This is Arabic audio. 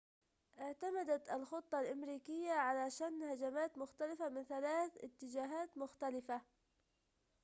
اعتمدت الخطة الأمريكية على شن هجمات منظمة من ثلاثة اتجاهات مختلفة